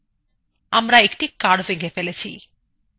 আমরা একটি curve এঁকে ফেলেছি !